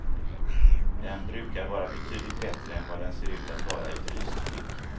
Den brukar vara betydligt bättre än vad den ser ut att vara i fryst skick.